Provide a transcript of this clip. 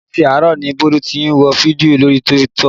Àti àárọ̀ ni Bólú tí ń wo fídíò lórí TikTok